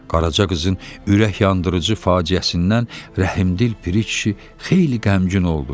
Qaraca qızın ürək yandırıcı faciəsindən rəhimdil Piri kişi xeyli qəmgin oldu.